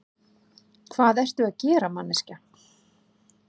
Hvað ertu að gera, manneskja?